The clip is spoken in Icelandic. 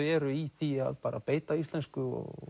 eru í því að bara beita íslensku og